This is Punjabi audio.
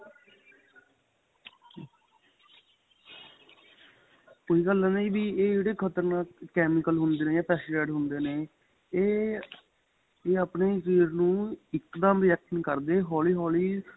ਉਹੀ ਗੱਲ ਏ ਨਾ ਜ਼ੀ ਵੀ ਏਹ ਜਿਹੜੇ ਖਤਰਨਾਕ chemical ਹੁੰਦੇ ਨੇ ਜਾਂ pesticide ਹੁੰਦੇ ਨੇ ਏਹ ਏਹ ਆਪਣੇਂ ਸ਼ਰੀਰ ਨੂੰ ਇੱਕ ਦਮ react ਨਹੀਂ ਕਰਦੇ ਹੋਲੀਂ ਹੋਲੀੰ